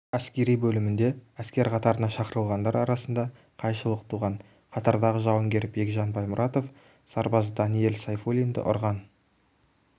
әскери бөлімінде әскер қатарына шақырылғандар арасында қайшылық туған қатардағы жауынгер бекгжан баймұратов сарбаз даниэль сайфулинді ұрған